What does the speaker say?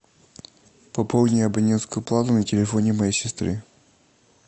пополни абонентскую плату на телефоне моей сестры